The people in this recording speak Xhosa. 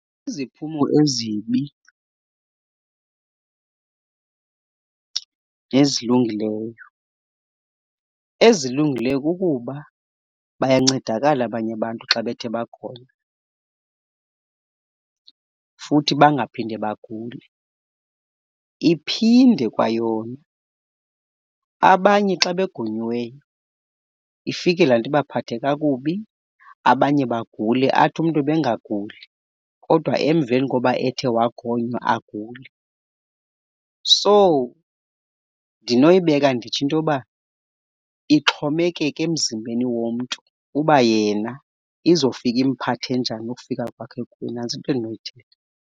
Iziphumo ezibi nezilungileyo. Ezilungileyo kukuba bayancedakala abanye abantu xa bethe bakhona futhi bangaphinde bagule. Iphinde kwayona abanye xa begonyiweyo ifike laa nto ibaphathe kakubi abanye bagule athi umntu ebengaguli kodwa emveni koba ethe wagonywa agule. So, ndinoyibeka nditsho into yoba ixhomekeka emzimbeni womntu uba yena izofika imphathe njani ukufika kwakhe, nantso into endinoyithetha.